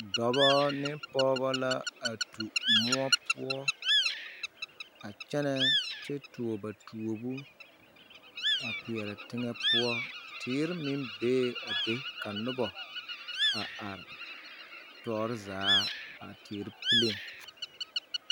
Dɔbɔ ne pooba la a tu moɔ poɔ a kyɛnɛ kyɛ tuo ba tuoobo a kpeɛrɛ teŋa poɔ teere meŋ bee a be ka noba a are toore zaa a teere puleeŋ.